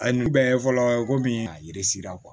A ye nin bɛɛ ye fɔlɔ komi a yiri sera